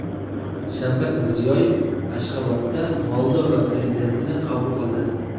Shavkat Mirziyoyev Ashxobodda Moldova prezidentini qabul qildi.